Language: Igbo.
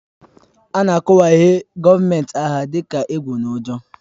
A na-akọwahie gọọmenti agha dị ka egwu na ụjọ